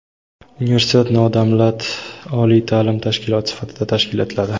Universitet nodavlat oliy taʼlim tashkiloti sifatida tashkil etiladi.